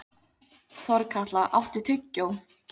Þorkatla, áttu tyggjó?